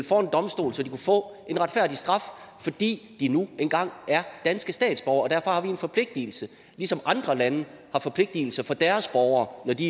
for en domstol så de kunne få en retfærdig straf fordi de nu engang er danske statsborgere og derfor har vi en forpligtigelse ligesom andre lande har forpligtigelser for deres borgere når de